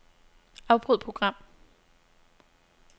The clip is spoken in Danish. Afbryd program.